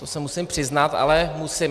To se musím přiznat, ale musím.